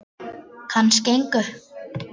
Kannski engu.